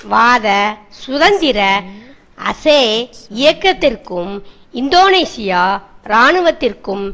பிரிவினைவாத சுதந்திர அசே இயக்கத்திற்கும் இந்தோனேசிய இராணுவத்திற்கும்